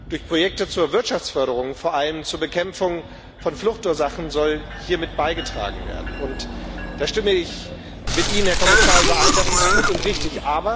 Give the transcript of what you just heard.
Durch Projekte zur Wirtschaftsförderung soll vor allem zur Bekämpfung von Fluchtursachen beigetragen werden, und da stimme ich mit Ihnen, Herr Kommissar, überein das ist gut und richtig.